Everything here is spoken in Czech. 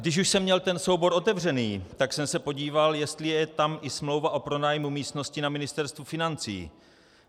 Když už jsem měl ten soubor otevřený, tak jsem se podíval, jestli je tam i smlouva o pronájmu místnosti na Ministerstvu financí.